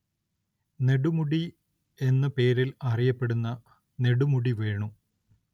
നെടുമുടി എന്ന പേരിൽ അറിയപ്പെടുന്ന നെടുമുടി വേണു